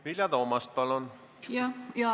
Vilja Toomast, palun!